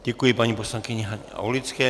Děkuji paní poslankyni Haně Aulické.